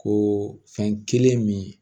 Ko fɛn kelen min